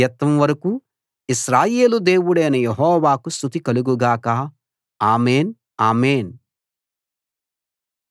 నా యథార్థతను బట్టి నువ్వు నాకు సహాయం చేస్తావు నీ సమక్షంలో నన్ను శాశ్వతంగా నిలబెట్టుకుంటావు